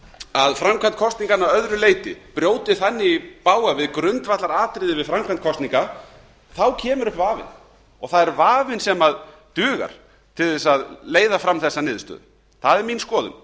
að framkvæmd kosninganna að öðru leyti brjóti þannig í bága við grundvallaratriði við framkvæmd kosninga á kemur upp vafinn og það er vafinn sem dugar til að leiða fram þessa niðurstöðu það er mín skoðun